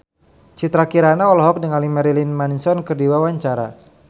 Citra Kirana olohok ningali Marilyn Manson keur diwawancara